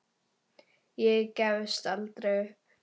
Ég gefst aldrei upp.